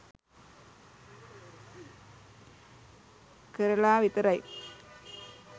කරලා විතරයි